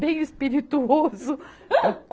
Bem espirituoso.